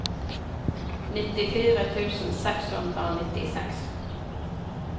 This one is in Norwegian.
nittifire tusen seks hundre og nittiseks